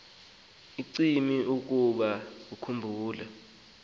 ikucime kum ukukhumbula